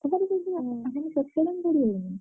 ତମର ପଡ଼ିଗଲାଣି।